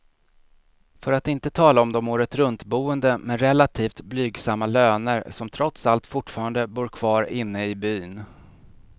För att inte tala om de åretruntboende med relativt blygsamma löner, som trots allt fortfarande bor kvar inne i byn.